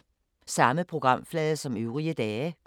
Samme programflade som øvrige dage